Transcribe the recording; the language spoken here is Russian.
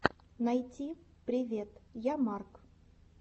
найти привет я марк